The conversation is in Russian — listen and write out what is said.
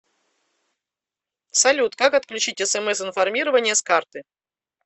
салют как отключить смс информирование с карты